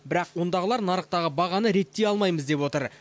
бірақ ондағыдар нарықтағы бағаны реттей алмаймыз деп отыр